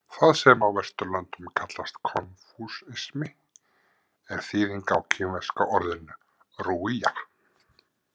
Það sem á Vesturlöndum kallast „konfúsismi“ er þýðing á kínverska orðinu rujia.